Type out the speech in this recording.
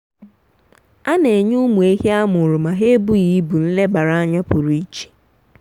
a na m kuziere ndị agbata obi m ihe gbasara ịmụpụta na izụlite anụmanụ.